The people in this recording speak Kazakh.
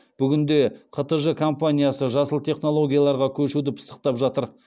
бүгінде қтж компаниясы жасыл технологияларға көшуді пысықтап жатыр